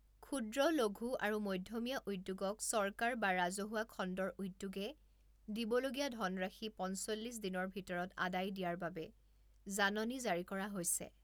ক্ষূদ্ৰ লঘূ আৰু মধ্যমীয়া উদ্যোগক চৰকাৰ বা ৰাজহুৱা খণ্ডৰ উদ্যোগে দিবলগীয়া ধনৰাশি পঞ্চল্লিছ দিনৰ ভিতৰত আদায় দিয়াৰ বাবে জাননী জাৰি কৰা হৈছে।